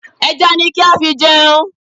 Ẹja ni kí á fi jẹun.